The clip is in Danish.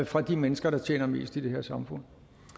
fra de mennesker der tjener mest i det her samfund